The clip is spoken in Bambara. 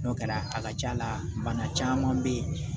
N'o kɛra a ka ca la bana caman bɛ ye